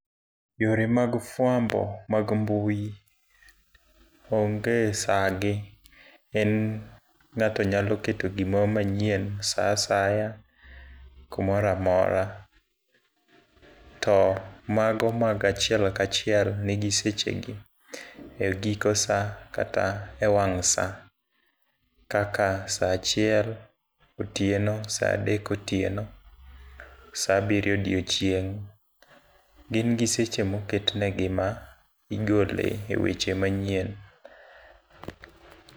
Yore mag fwambo mag mbui onge sa gi. En ngáto nyalo keto gimoro manyien sa asaya, kumoro amora. To mago mag achiel ka achiel, nigi seche gi, e giko sa, kata e wang' sa. Kaka sa achiel otieno, sa adek otieno, sa abiriyo odiechieng. Gin gi seche ma oketnegi ma igole e weche manyien.